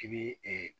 I bi